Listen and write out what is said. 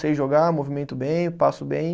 Sei jogar, movimento bem, passo bem.